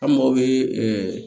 An mago bɛ